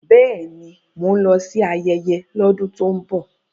Bẹ́ẹ̀ni, mò ń lọ sí ayẹyẹ lọ́dún tó ń bọ̀.